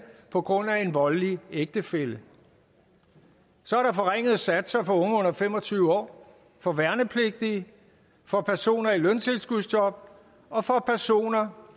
på grund af en voldelig ægtefælle så er der forringede satser for unge under fem og tyve år for værnepligtige for personer i løntilskudsjob og for personer